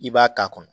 I b'a k'a kɔnɔ